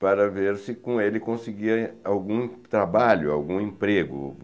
para ver se com ele conseguia algum trabalho, algum emprego.